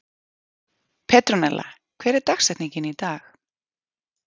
Petronella, hver er dagsetningin í dag?